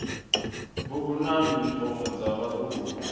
bugu na yunifomo dza vhaḓuhulu